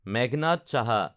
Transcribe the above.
Meghnad Saha